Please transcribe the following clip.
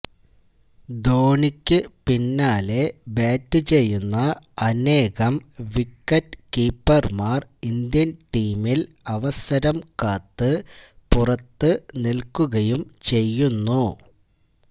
ധോനിക്ക് പിന്നാലെ ബാറ്റ് ചെയ്യുന്ന അനേകം വിക്കറ്റ് കീപ്പര്മാര് ഇന്ത്യന് ടീമില് അവസരം കാത്ത്പുറത്തു നില്ക്കുകയും ചെയ്യുന്നു